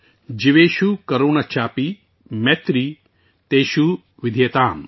جیوشو کرونا چاپی میتری تیشو ودھیتیم